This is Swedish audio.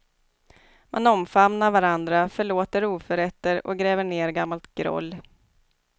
Man omfamnar varandra, förlåter oförrätter och gräver ner gammalt groll.